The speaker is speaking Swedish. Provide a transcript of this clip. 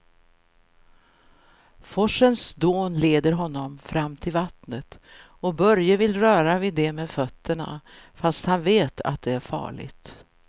Forsens dån leder honom fram till vattnet och Börje vill röra vid det med fötterna, fast han vet att det är farligt.